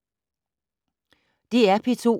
DR P2